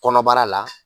Kɔnɔbara la